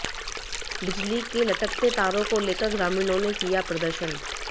बिजली के लटकते तारों को लेकर ग्रामीणों ने किया प्रदर्शन